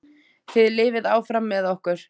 Þið lifið áfram með okkur.